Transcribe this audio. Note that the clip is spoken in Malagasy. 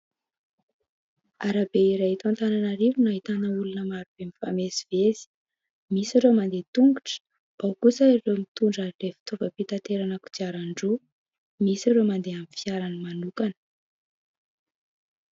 Arabe iray eto Antananarivo no ahitana olona maro be mifamezivezy, misy ireo mandeha tongotra, ao kosa ireo mitondra ireny fitaovam-pitaterana kodiaran-droa, misy ireo mandeha amin'ny fiarany manokana.